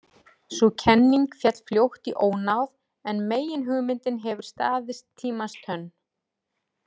Sú kenning féll fljótt í ónáð en meginhugmyndin hefur staðist tímans tönn.